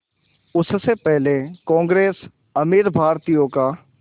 उससे पहले कांग्रेस अमीर भारतीयों का